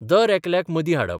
दरेकल्याक मदीं हाडप.